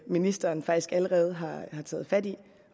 ministeren faktisk allerede har taget fat i